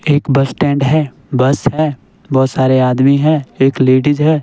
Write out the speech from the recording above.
एक bus stand है bus है बहुत सारे आदमी हैं एक लेडीज है।